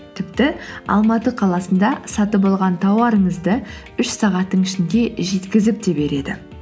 тіпті алматы қаласында сатып алған тауарыңызды үш сағаттың ішінде жеткізіп те береді